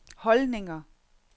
holdninger